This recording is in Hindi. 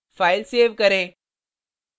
file सेव करें